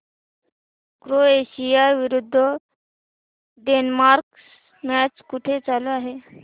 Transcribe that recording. Croatia विरुद्ध Denmark match कुठे चालू आहे